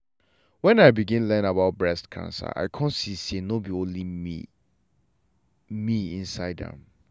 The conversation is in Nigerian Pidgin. wen i begin learn about breast cancer i come see say nor be only me me insde am.